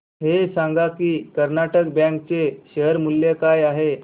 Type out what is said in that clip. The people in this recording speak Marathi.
हे सांगा की कर्नाटक बँक चे शेअर मूल्य काय आहे